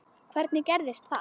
Hvernig gerðist það?